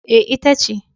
E, ita ce.